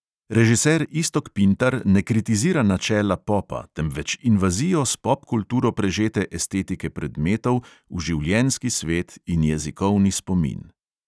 Režiser iztok pintar ne kritizira načela popa, temveč invazijo s popkulturo prežete estetike predmetov v življenjski svet in jezikovni spomin.